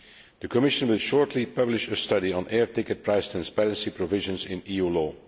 The Commission will shortly publish a study on air ticket price transparency provisions in